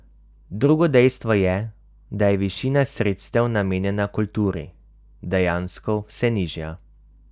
Drugo dejstvo je, da je višina sredstev, namenjena kulturi, dejansko vse nižja.